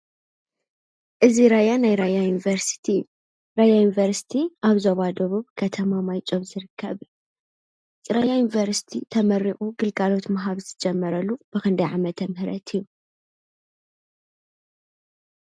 እዚ ራያ ናይ ራያ ዩኒቭርሲቲ እዩ። ራያ ዩኒቨርስቲ ኣብ ዞባ ደቡብ ከተማ ማይጨው ዝርከብ ። ራያ ዩኒቨርስቲ ተመሪቁ ግልጋሎት ማሃብ ዝጀመረሉ ብኽንደይ ዓመተ ምህረት እዩ?